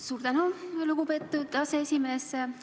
Suur tänu, lugupeetud aseesimees!